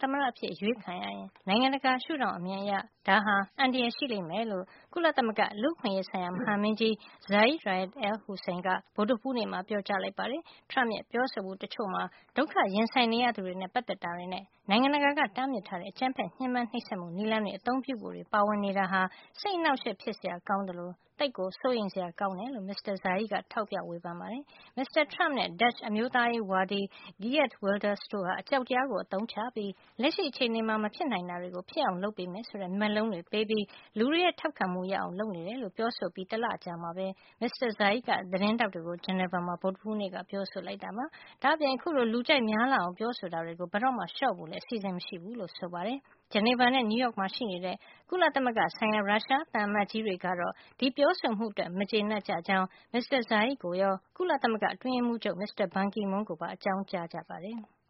သမ္မတအဖြစ် ရွေးချယ်ခံရရင် နိုင်ငံတကာ ရှုထောင့်အမြင်အရ ဒါဟာ အန္တရာယ် ရှိလိမ့်မယ်လို့ ကုလသမဂ္ဂ လူ့အခွင့်အရေး မဟာမင်းကြီး Zeid Ra’ad al-Hussein က ဗုဒ္ဓဟူးနေ့မှာ ပြောကြားလိုက်ပါတယ်။ Trump ရဲ့ ပြောဆိုမှုတချို့မှာ ဒုက္ခရင်ဆိုင်နေရသူတွေနဲ့ ပတ်သက်တာတွေနဲ့ နိုင်ငံတကာက တားမြစ်ထားတဲ့ အကြမ်းဖက် ညှဉ်းပမ်းနှိပ်စက်မှု နည်းလမ်းတွေ အသုံးပြုဖို့တွေ ပါဝင်နေတာဟာ စိတ်အနှောင့်အယှက် ဖြစ်စရာကောင်းသလို သိပ်ကို စိုးရိမ်စရာ ကောင်းတယ်လို့ မစ္စတာ Zeid က ထောက်ပြ ဝေဖန် ခဲ့ပါတယ်။ မစ္စတာ Trump နဲ့ Dutch အမျိုးသားရေးဝါဒီ Geert Wilders တို့ဟာ အကြောက်တရားကို အသုံးချပြီး၊ လက်ရှိ အခြေအနေမှာ မဖြစ်နိုင်တာတွေကို ဖြစ်အောင်လုပ်ပေးမယ် ဆိုတဲ့ မက်လုံးတွေပေးပြီး လူတွေရဲ့ ထောက်ခံမှုရအောင် လုပ်နေတယ်လို့ ပြောဆိုအပြီး တလအကြာမှာ Mr. Zeid က သတင်းထောက်တွေကို Geneva မှာ ဗုဒ္ဓဟူးနေ့က ပြောဆိုလိုက်တာပါ။ ဒါ့အပြင် အခုလို လူကြိုက်များလာအောင် ပြောဆိုတာတွေကို ဘယ်တော့မှ လျှော့ဖို့လည်း အစီစဉ်မရှိဘူးလို့ ပြောပါတယ်။ ဂျနီဗာနဲ့ နယူးယောက်မှာရှိတဲ့ ကုလသမဂ္ဂဆိုင်ရာ ရုရှားသံအမတ်ကြီးတွေကတော့ ဒီပြောဆိုမှုအတွက် မကျေနပ်ကြကြောင်း မစ္စတာ Zeid ကိုရော ကုလသမဂ္ဂ အတွင်းရေးမှူးချုပ် မစ္စတာ ဘန်ကီမွန်းကိုပါ အကြောင်းကြားကြပါတယ်။